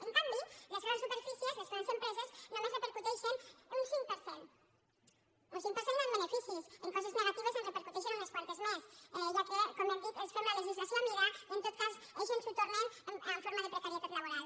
en canvi les grans superfícies les grans empreses només repercuteixen un cinc per cent un cinc per cent en beneficis en coses negatives en repercuteixen unes quantes més ja que com hem dit els fem la legislació a mida i en tot cas ells ens ho tornen en forma de precarietat laboral